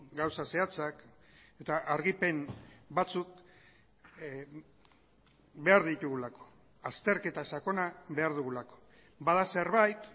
gauza zehatzak eta argipen batzuk behar ditugulako azterketa sakona behar dugulako bada zerbait